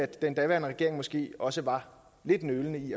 den daværende regering måske også var lidt nølende i